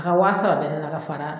A ka wa saba bɛ ne na ka fara